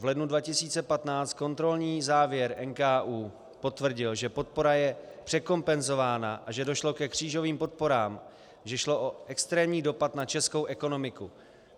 V lednu 2015 kontrolní závěr NKÚ potvrdil, že podpora je překompenzována a že došlo ke křížovým podporám, že šlo o extrémní dopad na českou ekonomiku.